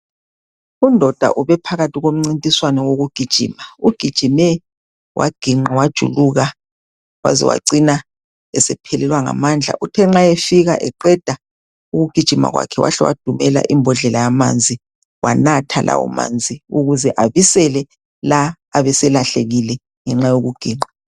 Undoda ubephakathi komncintiswano wokugijima, ugijime waginqa wajuluka waze wacina esephelelwa ngamandla, uthe nxa efika eqeda ukugijima kwakhe wahle wadumela imbodlela yamanzi wanatha lawomanzi ukuze abisele la abeselahlekile ngenxa yokuginqa.